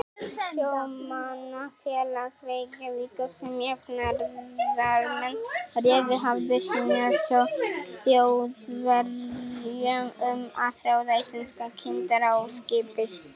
Sjómannafélag Reykjavíkur, sem jafnaðarmenn réðu, hafði synjað Þjóðverjum um að ráða íslenska kyndara á skipið.